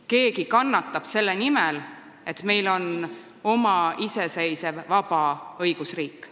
Keegi kannatab selle nimel, et meil on oma iseseisev vaba õigusriik.